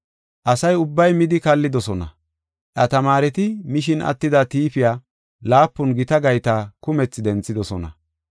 Asa ubbay midi kallidosona. Iya tamaareti, mishin attida tiifiya laapun gita gayta kumethi denthidosona.